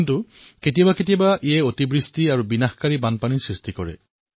কিন্তু কেতিয়াবা অতিবৃষ্টি আৰু বিনাশকাৰী বানৰো সৃষ্টি হয়